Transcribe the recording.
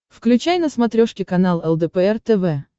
включай на смотрешке канал лдпр тв